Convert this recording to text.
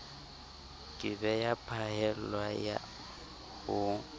ke be ya phaellwa ho